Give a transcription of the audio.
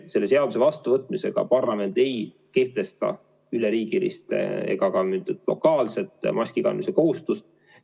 Selle seaduse vastuvõtmisega parlament ei kehtesta üleriigilist ega ka lokaalset maski kandmise kohustust.